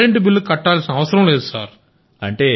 current bill కట్టాల్సిన అవసరం లేదు సార్